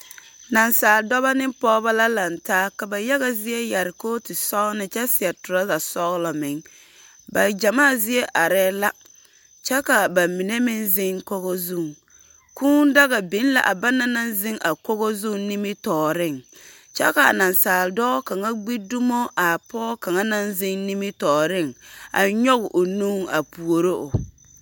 Nasaal dɔbɔ ne pɔgebɔ la lantaa, ka ba yaga zie yare kootu kyɛ seɛ tɔrasa sɔgene meŋ. Ba gyamaa zie aree la. Kyɛ ka ba mine meŋ zeŋ kogo zuŋ. Kūū daga biŋ la a bana naŋ zeŋ a kogo zuŋ nimitɔɔreŋ. Kyɛ kaa nasaal dɔɔ kaŋa gbi dumo a pɔge kaŋa naŋ zeŋ nimitɔɔreŋ, a nyɔge o nu a puoro o.